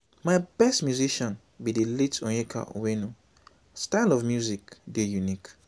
my best musician be the late onyeka onwenu. her style of music dey unique.